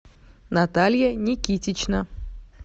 наталья никитична